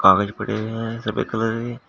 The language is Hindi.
कागज पड़े हैं सभी कलर के--